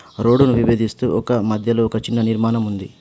Road ను విభజిస్తూ ఒక మధ్యలో ఒక చిన్న నిర్మాణం ఉంది.